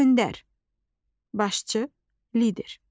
Öndər, başçı, lider.